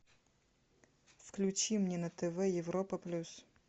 включи мне на тв европа плюс